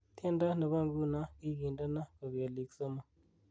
Tyendo ni bo nguno kigindeno kogelik somok